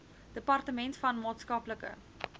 departement van maatskaplike